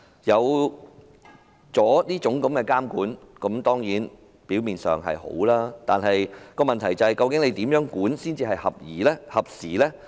有了這種監管，表面上當然是好的，但問題是如何監管才算是合宜和合時呢？